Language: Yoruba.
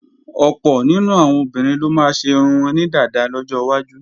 Ọ̀pọ̀ nínú àwọn obìnrin ló máa ṣe irun wọn ní dàda lọ́jọwájú